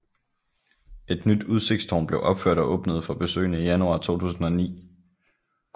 Et nyt udsigtstårn blev opført og åbnede for besøgende i januar 2009